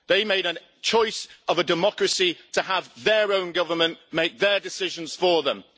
They made a choice of a democracy to have their own government make their decisions for them.